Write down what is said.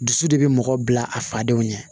Dusu de bɛ mɔgɔ bila a fadenw ɲɛ